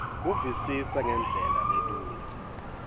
kuvisisa ngendlela lelula